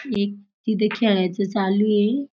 एक तिथं खेळायचं चालू ये.